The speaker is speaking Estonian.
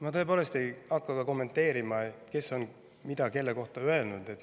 Ma tõepoolest ei hakka kommenteerima, kes on mida kelle kohta öelnud.